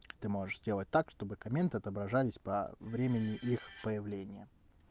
ты можешь сделать так чтобы комменты отображались по времени их появления